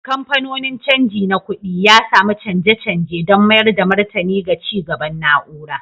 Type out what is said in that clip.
Kamfanonin canji na kuɗi, ya sami canje-canje don mayar da martani ga ci gaban na'ura